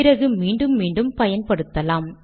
பிறகு மீண்டும் மீண்டும் பயன்படுத்தலாம்